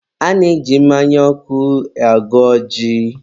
a na-eji mmanya ọkụ agọ ọjị.